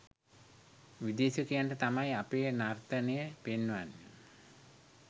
විදේශිකයන්ට තමයි අපේ නර්තනය පෙන්වන්නෙ.